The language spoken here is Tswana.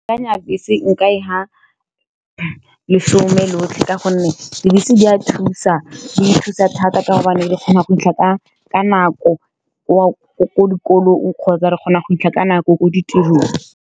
Ke akanya bese nka e fa lesome lotlhe ka gonne dibese di a thusa, di thusa thata ka gobane di kgona go fitlha ka nako ko dikolong, kgotsa re kgona go fitlha ka nako ko ditirong.